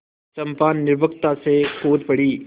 चंपा निर्भीकता से कूद पड़ी